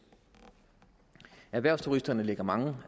erhvervsturisterne lægger mange